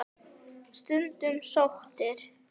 Skundi sóttur